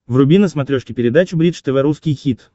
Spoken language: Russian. вруби на смотрешке передачу бридж тв русский хит